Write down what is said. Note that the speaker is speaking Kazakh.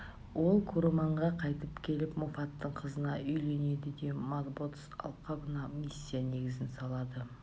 ол куруманға қайтып келіп моффаттың қызына үйленеді де маботс алқабына миссия негізін салады